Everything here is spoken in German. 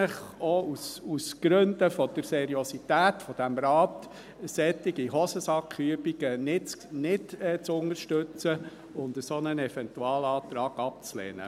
Ich empfehle Ihnen, auch aus Gründen der Seriosität dieses Rates, solche Hosensack-Übungen nicht zu unterstützen und einen solchen Eventualantrag abzulehnen.